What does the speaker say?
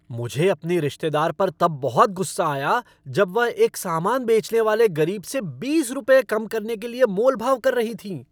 मुझे अपनी रिश्तेदार पर तब बहुत गुस्सा आया जब वह एक सामान बेचने वाले गरीब से बीस रुपये कम करने के लिए मोल भाव कर रही थीं।